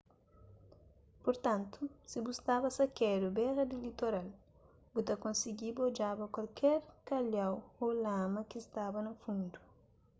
purtantu si bu staba sakedu bera di litoral bu ta konsigiba odjaba kualker kalhau ô lama ki staba na fundu